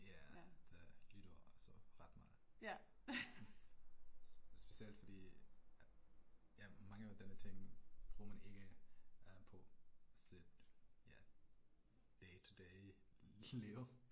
Ja det nytter altså ret meget. Specielt fordi jeg, mange af denne ting bruger man ikke på sit ja dag til dag liv